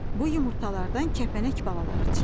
Bu yumurtalardan kəpənək balaları çıxır.